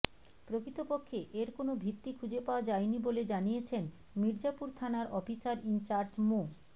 প্রকৃতপক্ষে এর কোনো ভিত্তি খুঁজে পাওয়া যায়নি বলে জানিয়েছেন মির্জাপুর থানার অফিসার ইনচার্জ মো